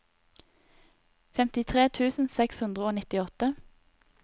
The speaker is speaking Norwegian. femtitre tusen seks hundre og nittiåtte